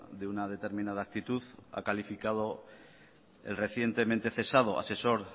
de una determinada actitud ha calificado el recientemente cesado asesor